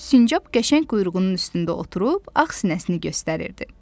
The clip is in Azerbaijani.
Sincab qəşəng quyruğunun üstündə oturub ağ sinəsini göstərirdi.